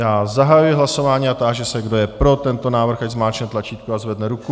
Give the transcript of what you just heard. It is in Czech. Já zahajuji hlasování a táži se, kdo je pro tento návrh, ať zmáčkne tlačítko a zvedne ruku.